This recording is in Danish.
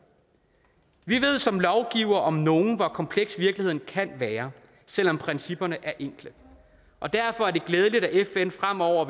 vi ved som lovgivere om nogen hvor kompleks virkeligheden kan være selv om principperne er enkle og derfor er det glædeligt at fn fremover